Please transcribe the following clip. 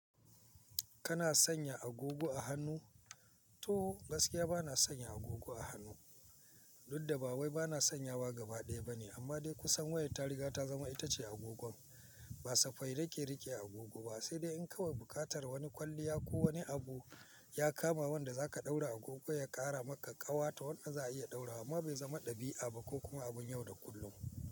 Kana sanya agogo a hannu? To, gaskiya bana sanya agogo a hannu. Dudda ba wai bana sanyawa gaba ɗaya bane, amma dai kusan wayar ta riga ta zama itace agogon. Ba safai nake rike agogo ba, sai dai in kawai buƙartar wani kwalliya ko wani abu ya kama wanda za ka ɗaura agogo ya ƙara maka ƙawa ta wanda za a iya ɗaura, amma bai zama ɗabi'a ba ko kuma abun yau da kullum.